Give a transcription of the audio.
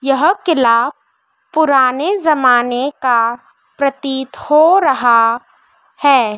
यह किला पुराने जमाने का प्रतीत हो रहा है।